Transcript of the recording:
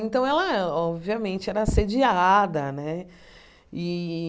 Então, ela, obviamente, era assediada né e.